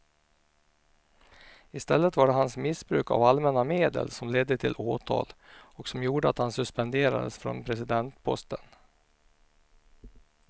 I stället var det hans missbruk av allmänna medel som ledde till åtal och som gjorde att han suspenderades från presidentposten.